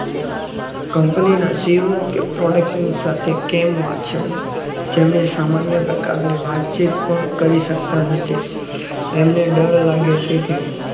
Company ના શિવ of production સાથે કેમ વાંચું જેમને સામાન્ય પ્રકારની વાતચીત પણ કરી શકતા નથી એમને ડર લાગે છે કે